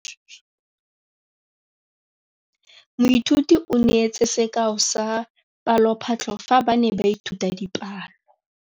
Moithuti o neetse sekaô sa palophatlo fa ba ne ba ithuta dipalo.